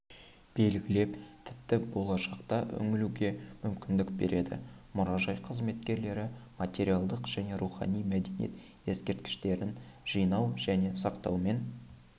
белгілеп тіпті болашаққа үңілуге мүмкіндік береді мұражай қызметкерлері материалдық және рухани мәдениет ескерткіштерін жинау және сақтаумен